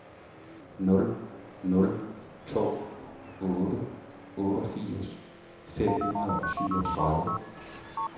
nul nul to otte otteogfirs fem hundrede og syvogtredive